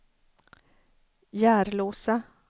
Järlåsa